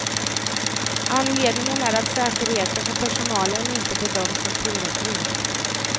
Anledningen är att säkerheten för personalen inte bedöms som tillräcklig.